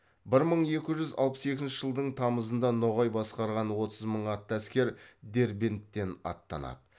бір мың екі жүз алпыс екінші жылдың тамызында ноғай басқарған отыз мың атты әскер дербенттен аттанады